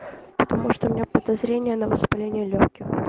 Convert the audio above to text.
потому что у меня подозрение на воспаление лёгких